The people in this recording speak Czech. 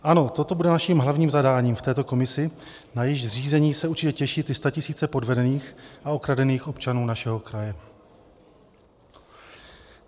Ano, toto bude naším hlavním zadáním v této komisi, na jejíž zřízení se určitě těší ty statisíce podvedených a okradených občanů našeho kraje.